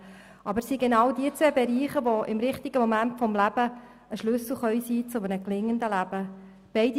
Es sind aber genau jene zwei Bereiche, die im richtigen Moment des Lebens ein Schlüssel zu einem gelingenden Leben sein können.